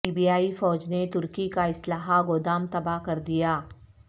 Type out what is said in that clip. لیبیائی فوج نے ترکی کا اسلحہ گودام تباہ کردیا